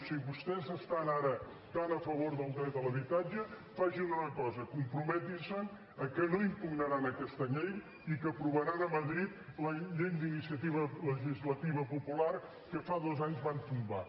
si vostès estan ara tan a favor del dret a l’habitatge facin una cosa comprometin se que no impugnaran aquesta llei i que aprovaran a madrid la llei d’iniciativa legislativa popular que fa dos anys van tombar